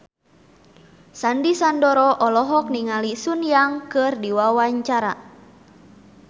Sandy Sandoro olohok ningali Sun Yang keur diwawancara